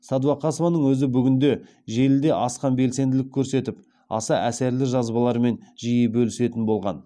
сәдуақасованың өзі бүгінде желіде асқан белсенділік көрсетіп аса әсерлі жазбаларымен жиі бөлісетін болған